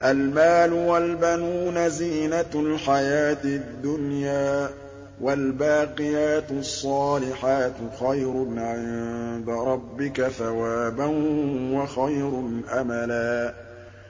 الْمَالُ وَالْبَنُونَ زِينَةُ الْحَيَاةِ الدُّنْيَا ۖ وَالْبَاقِيَاتُ الصَّالِحَاتُ خَيْرٌ عِندَ رَبِّكَ ثَوَابًا وَخَيْرٌ أَمَلًا